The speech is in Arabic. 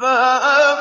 فَأَمَّا